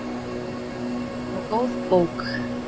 Og góð bók.